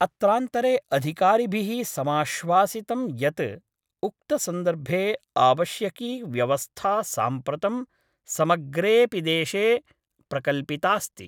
अत्रांतरे अधिकारिभिः समाश्वासितं यत् उक्तसन्दर्भे आवश्यकी व्यवस्था साम्प्रतं समग्रेपिदेशे प्रकल्पितास्ति।